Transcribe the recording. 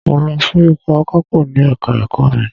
Mo lọ fún ipò akapo ní Ẹ̀ka-ẹ̀kọ́ mi.